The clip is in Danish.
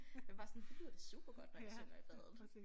Jeg var bare sådan det lyder da supergodt når jeg synger i badet